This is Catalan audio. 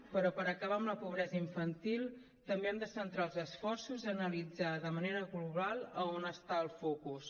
però per acabar amb la pobresa infantil també hem de centrar els esforços a analitzar de manera global on està el focus